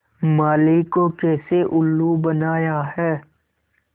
माली को कैसे उल्लू बनाया है